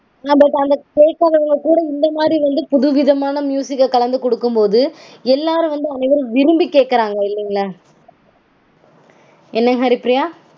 நம்மள்க்கு அத கேக்காதவங்கக்கூட இந்த மாதிரி வந்து புதுவிதமான -அ கலந்து கொடுக்கும்போது எல்லாரும் வந்து அனைவரும் விரும்பி கேக்கறாங்க இல்லீங்களா? என்ன ஹரிப்பிரியா?